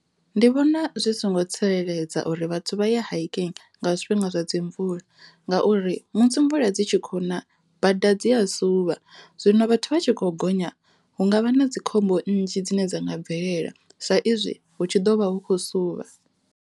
Ndi vhona zwi songo tsireledza uri vhathu vha ye hiking nga zwifhinga zwa dzi mvula ngauri musi mvula dzi tshi khou na bada dzi a suvha zwino vhathu vha tshi khou gonya hu ngavha na dzikhombo nnzhi dzine dza nga bvelela sa izwi hu tshi ḓovha hu khou suvha.